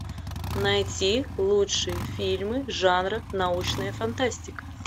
найти лучшие фильмы жанра научная фантастика